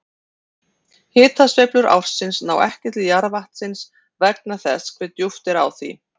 Hitasveiflur ársins ná ekki til jarðvatnsins vegna þess hve djúpt er á því.